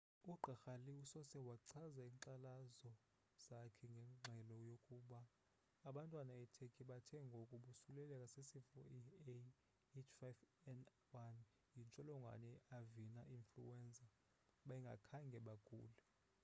i gqirha lee usose wachaza inkxalazo zakhe ngengxelo yokuba abantwana e turkey bathe ngoku bosuleleleka sisifo iah5n1 yintsholongwane ye avina influenza bengakhange bagule